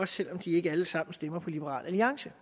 selv om de ikke alle sammen stemmer på liberal alliance